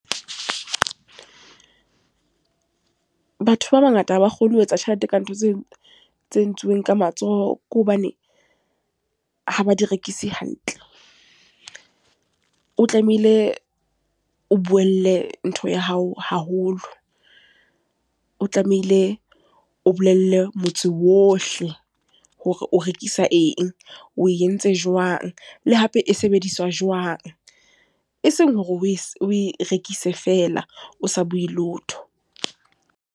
Batho ba bangata ha ba kgone ho etsa tjhelete ka ntho tse, tse entsweng ka matsoho. Ke hobane, ha ba di rekise hantle. O tlamehile o buelle ntho ya hao haholo. O tlamehile o bolelle motse wa ohle hore o rekisa eng, o entse jwang, le hape e sebediswa jwang. Eseng hore o e o e rekise feela, o sa bue letho.